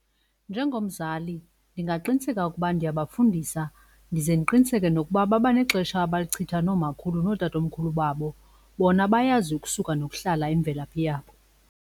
Njengomzali ndingaqiniseka ukuba ndiyabafundisa. Ndize ndiqiniseke nokuba baba nexesha abalichitha nomakhulu nootatomkhulu babo bona bayazi ukusuka nokuhlala imvelaphi yabo.